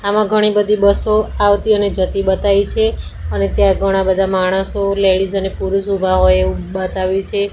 આમાં ઘણી બધી બસો આવતી અને જતી બતાવી છે અને ત્યાં ઘણા બધા માણસો લેડીઝ અને પુરુષ ઉભા હોય એવું બતાવે છે.